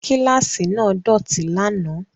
Kíláàsì náà dọ̀tí lánàá